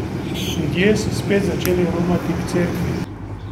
Ljudje so spet začeli romati k cerkvi.